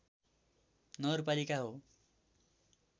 नगरपलिका हो